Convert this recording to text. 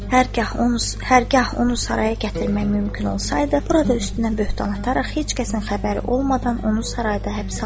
Hər gah onu saraya gətirmək mümkün olsaydı, burada üstünə böhtan ataraq heç kəsin xəbəri olmadan onu sarayda həbsə alardıq.